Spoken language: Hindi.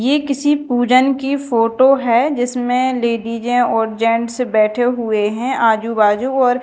ये किसी पूजन की फोटो है जिसमें लेडीजे और जेंट्स बैठे हुए है आजू बाजू और--